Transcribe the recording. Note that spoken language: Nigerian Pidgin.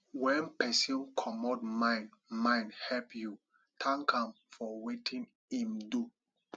when person comot mind mind help you thank am for wetin im do